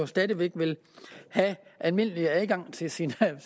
stadig væk vil have almindelig adgang til sine egne